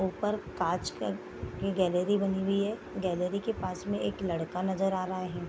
ऊपर कांच का गैलरी बनी हुई है गैलरी के पास में एक लड़का नजर आ रहा है।